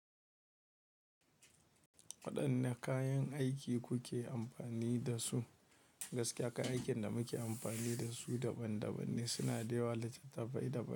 Waɗanne kayan aiki kuke amfani da su? Gaskiya kayan aikin da muke amfani da su daban daban ne, suna da yawa litattafai daban.